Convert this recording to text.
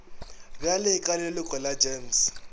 bjale ka leloko la gems